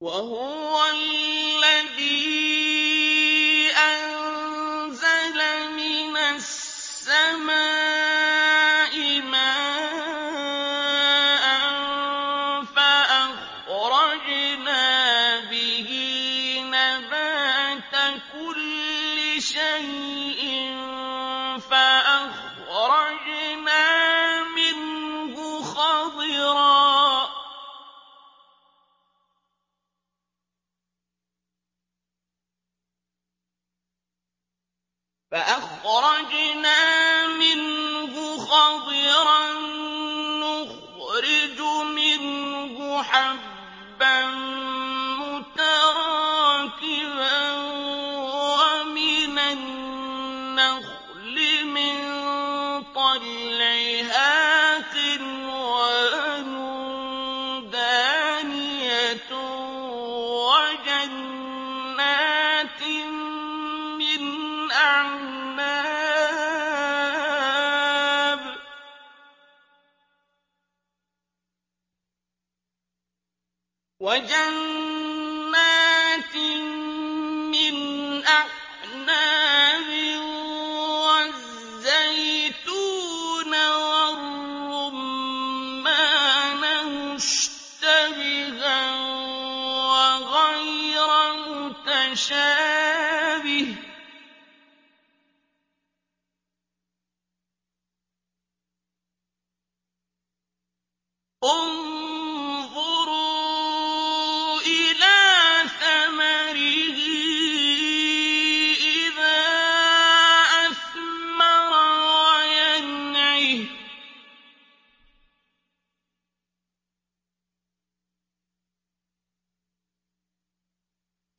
وَهُوَ الَّذِي أَنزَلَ مِنَ السَّمَاءِ مَاءً فَأَخْرَجْنَا بِهِ نَبَاتَ كُلِّ شَيْءٍ فَأَخْرَجْنَا مِنْهُ خَضِرًا نُّخْرِجُ مِنْهُ حَبًّا مُّتَرَاكِبًا وَمِنَ النَّخْلِ مِن طَلْعِهَا قِنْوَانٌ دَانِيَةٌ وَجَنَّاتٍ مِّنْ أَعْنَابٍ وَالزَّيْتُونَ وَالرُّمَّانَ مُشْتَبِهًا وَغَيْرَ مُتَشَابِهٍ ۗ انظُرُوا إِلَىٰ ثَمَرِهِ إِذَا أَثْمَرَ وَيَنْعِهِ ۚ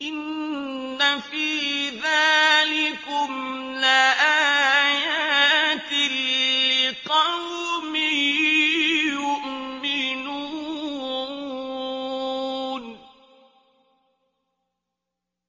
إِنَّ فِي ذَٰلِكُمْ لَآيَاتٍ لِّقَوْمٍ يُؤْمِنُونَ